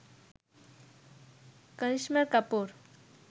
Karisma Kapoor